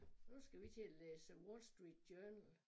Nu skal vi til at læse Wall Street Journal